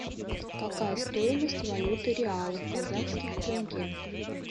какая стоимость валюты реал в казахских тенге